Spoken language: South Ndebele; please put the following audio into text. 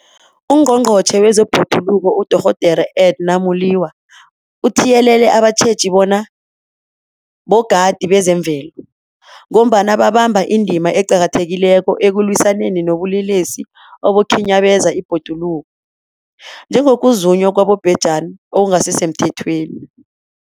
UNgqongqotjhe wezeBhoduluko uDorh Edna Molewa uthiyelele abatjheji bona bogadi bezemvelo, ngombana babamba indima eqakathekileko ekulwisaneni nobulelesi obukhinyabeza ibhoduluko, njengokuzunywa kwabobhejani okungasisemthethweni.